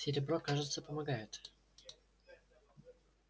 серебро кажется помогает